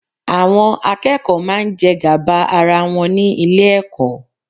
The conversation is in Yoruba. Àwọn akẹ́kọ̀ọ́ máa ń jẹ gàba ara wọn ní Ilé-ẹ̀kọ́